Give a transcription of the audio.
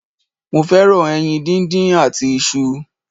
Mo fẹ́ràn ẹyin díndín àti isu